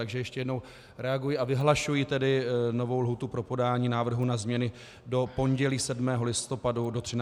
Takže ještě jednou reaguji a vyhlašuji tedy novou lhůtu pro podání návrhu na změny do pondělí 7. listopadu do 13 hodin.